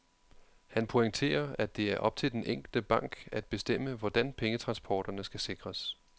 Han pointerer, at det er op til den enkelte bank at bestemme, hvordan pengetransporterne skal sikres.